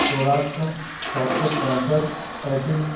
स्वराज का सात सौ पैंसठ एफई ।